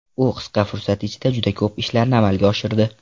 U qisqa fursat ichida juda ko‘p ishlarni amalga oshirdi.